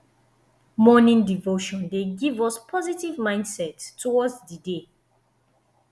morning devotion dey give us positive mindset towards di day